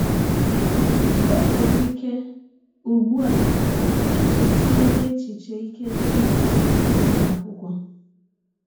Ọ nwere ike, ụgbụ a, i chesiwela echiche ike ịkwụsị ịga akwụkwọ.